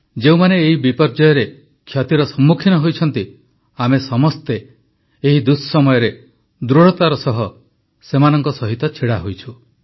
ଯେଉଁମାନେ ଏହି ବିପର୍ଯ୍ୟୟରେ କ୍ଷତିର ସମ୍ମୁଖୀନ ହୋଇଛନ୍ତି ଆମେ ସମସ୍ତେ ଏହି ଦୁଃସମୟରେ ଦୃଢ଼ତାର ସହ ସେମାନଙ୍କ ସହିତ ଛିଡ଼ା ହୋଇଛୁ